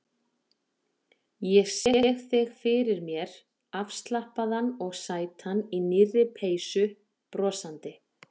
Ég sé þig fyrir mér afslappaðan og sætan í nýrri peysu, brosandi.